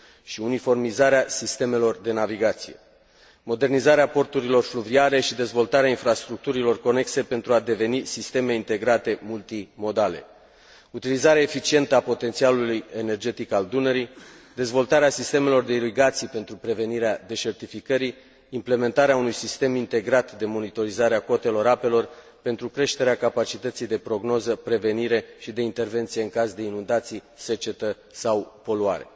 și uniformizarea sistemelor de navigație, modernizarea porturilor fluviale și dezvoltarea infrastructurilor conexe pentru a deveni sisteme integrate multimodale, utilizarea eficientă a potențialului energetic al Dunării, dezvoltarea sistemelor de irigații pentru prevenirea deșertificării, implementarea unui sistem integrat de monitorizare a cotelor apelor pentru creșterea capacității de prognoză, prevenire și de intervenție în caz de inundații, secetă sau poluare.